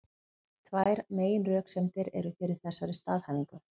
Tvær meginröksemdir eru fyrir þessari staðhæfingu.